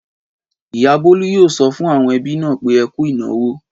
Ìyá Bólú yóò sọ fún àwọn ẹbí náà pé Ẹ kú ìnáwó.